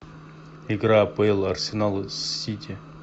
игра апл арсенала с сити